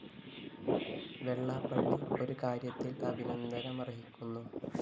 വെള്ളാപ്പള്ളി ഒരു കാര്യത്തില്‍ അഭിനന്ദനമര്‍ഹിക്കുന്നു